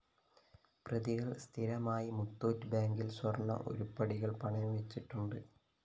പ്രതികള്‍ സ്ഥിരമായി മുത്തൂറ്റ് ബാങ്കില്‍ സ്വര്‍ണ ഉരുപ്പടികള്‍ പണയം വച്ചിട്ടുണ്ട്